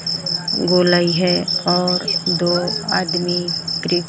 गोलाई है और दो आदमी प्री--